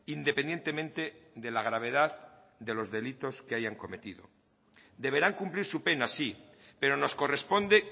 independientemente de la gravedad de los delitos que hayan cometido deberán cumplir su pena sí pero nos corresponde